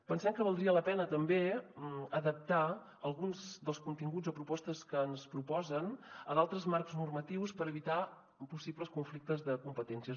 pensem que valdria la pena també adaptar alguns dels continguts o propostes que ens proposen a d’altres marcs normatius per evitar possibles conflictes de competències